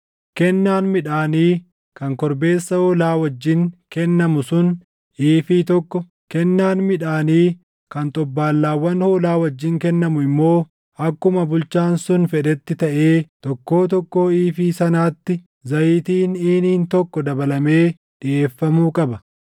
Kennaan midhaanii kan korbeessa hoolaa wajjin kennamu sun iifii + 46:5 Iifiin tokko kiiloo giraamii 40. tokko, kennaan midhaanii kan xobbaallaawwan hoolaa wajjin kennamu immoo akkuma bulchaan sun fedhetti taʼee tokkoo tokkoo iifii sanaatti zayitiin iiniin + 46:5 Iiniin tokko liitiroo 6. tokko dabalamee dhiʼeeffamuu qaba.